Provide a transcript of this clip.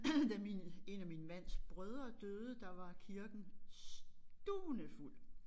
Da min 1 af min mands brødre døde der var kirken stuvende fuld